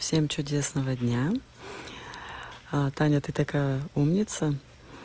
всем чудесного дня а таня ты такая умница